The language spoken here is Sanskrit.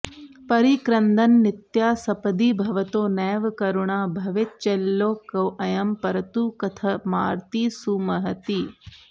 परिक्रन्दन्नित्याः सपदि भवतो नैव करुणा भवेच्चेल्लोकोऽयं तरतु कथमार्तीः सुमहतीः